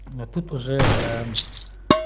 не тут уже